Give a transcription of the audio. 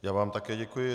Já vám také děkuji.